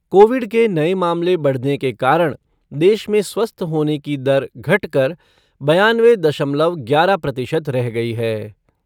Covid के नये मामले बढ़ने के कारण देश में स्वस्थ होने की दर घटकर बानवे दशमलव ग्यारह प्रतिशत रह गई है।